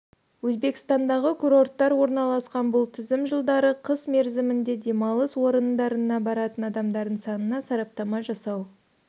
өзбекстандағы курорттар орналасқан бұл тізім жылдары қыс мерзімінде демалыс орындарына баратын адамдардың санына сараптама жасау